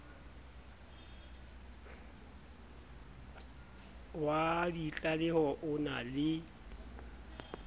wa ditlaleho o na le